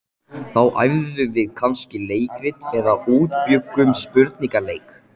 Þá æfðum við kannski leikrit eða útbjuggum spurningaleik.